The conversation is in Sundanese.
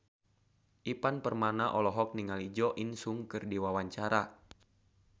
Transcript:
Ivan Permana olohok ningali Jo In Sung keur diwawancara